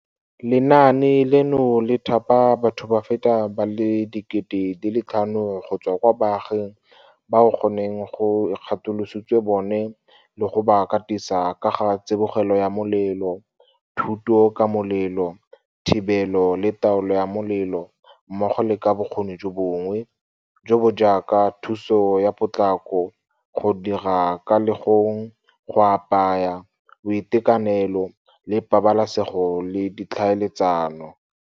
Lenaane leno le thapa batho ba feta ba le 5 000 go tswa kwa baaging bao go neng go ikgatolositswe bone le go ba katisa ka ga tsibogelo ya molelo, thuto ka molelo, thibelo le taolo ya molelo mmogo le ka bokgoni jo bongwe, jo bo jaaka thuso ya potlako, go dira ka legong, go apaya, boitekanelo le pabalesego le ditlhaeletsano.